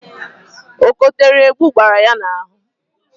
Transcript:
Ọ kotere ebu gbara ya n'ahụ